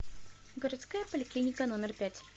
городская поликлиника номер пять